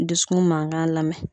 Dusukun mankan lamɛn.